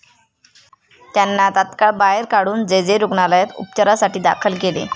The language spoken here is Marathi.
त्यांना तात्काळ बाहेर काढून जे. जे. रुग्णालयात उपचारासाठी दाखल केले.